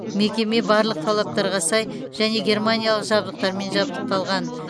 мекеме барлық талаптарға сай және германиялық жабдықтармен жарақталған